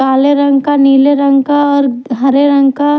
काले रंग का नीले रंग का और हरे रंग का।